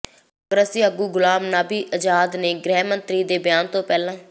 ਕਾਂਗਰਸੀ ਆਗੂ ਗ਼ੁਲਾਮ ਨਬੀ ਆਜ਼ਾਦ ਨੇ ਗ੍ਰਹਿ ਮੰਤਰੀ ਦੇ ਬਿਆਨ ਤੋਂ ਪਹਿਲਾਂ